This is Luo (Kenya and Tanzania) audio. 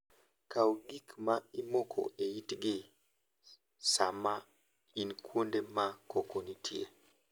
Kaw gik ma imoko e itgi sama in kuonde ma koko nitie.